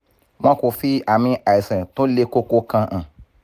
wọn kò fi ami àìsàn tó le koko kan hàn